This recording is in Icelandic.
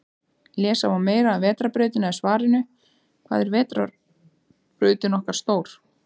Lesa má meira um Vetrarbrautina í svarinu Hvað er vetrarbrautin okkar stór?